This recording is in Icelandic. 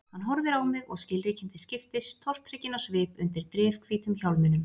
Hann horfir á mig og skilríkin til skiptis, tortrygginn á svip undir drifhvítum hjálminum.